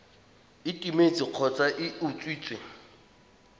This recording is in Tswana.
e timetse kgotsa e utswitswe